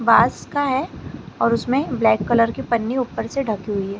बांस का है और उसमें ब्लैक कलर के पन्नी ऊपर से ढकी हुई है।